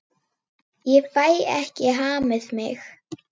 Ég fæ ekki hamið mig.